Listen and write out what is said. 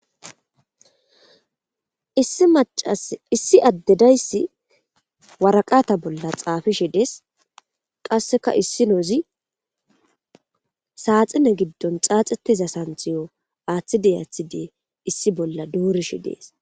Issi macas issi addedayssi waraqata bolla xaafishi dees qasseka issi noozi saaxine giddon xaaxetiza santhiyo aaththide aathide issi bolla duurishi dees.